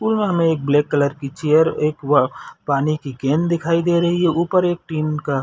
pool में हमें एक ब्लैक कलर की चेयर एक पानी की केन दिखाई दे रही है ऊपर एक टिन का --